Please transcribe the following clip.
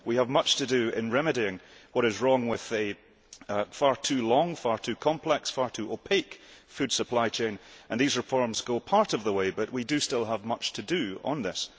We have much to do in remedying what is wrong with the far too long, far too complex, far too opaque food supply chain, and these reforms go part of the way, but we do still have much to do on this.